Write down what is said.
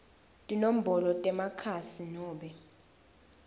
tinombolo temakhasi nobe